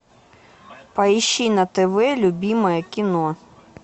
поищи на тв любимое кино